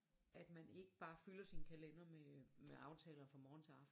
At man ikke bare fylder sin kalender med med aftaler fra morgen til aften